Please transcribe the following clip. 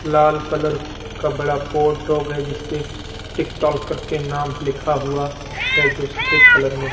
लाल colour का बड़ा pot है जिसपे टिकटॉल करके नाम लिखा हुआ है जो सफेद कलर में --